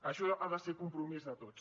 això ha de ser compromís de tots